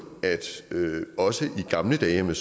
at også i gamle dage om jeg